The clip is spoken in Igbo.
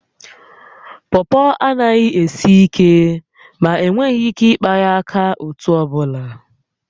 Pọpọ anaghi esi ike, ma enweghị ike ịkpa ya aka otú ọbụla